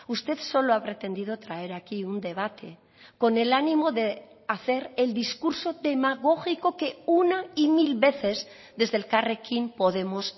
usted solo ha pretendido traer aquí un debate con el ánimo de hacer el discurso demagógico que una y mil veces desde elkarrekin podemos